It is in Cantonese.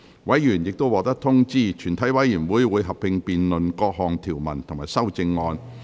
委員已獲得通知，全體委員會會合併辯論各項條文及修正案。